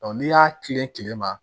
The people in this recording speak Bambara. n'i y'a kilen kile kile ma